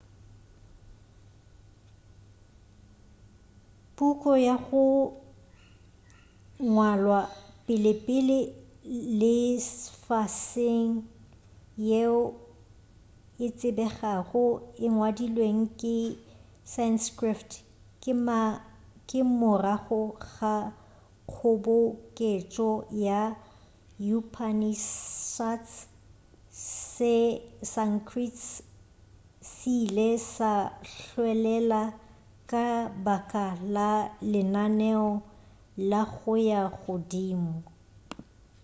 puku ya go ngwalwa pelepele lefaseng yeo e tsebegago e ngwadilwe ka se-sanskrit ka morago ga kgoboketšo ya upanishads se-sanskrit se ile sa hwelela ka baka la lenaneo la go ya godimo